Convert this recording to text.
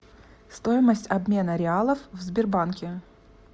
стоимость обмена реалов в сбербанке